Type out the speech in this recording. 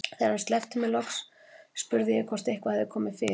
Þegar hann sleppti mér loks spurði ég hvort eitthvað hefði komið fyrir.